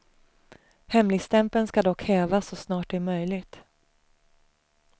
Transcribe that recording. Hemligstämpeln ska dock hävas så snart det är möjligt.